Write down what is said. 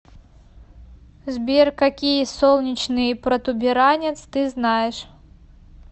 сбер какие солнечный протуберанец ты знаешь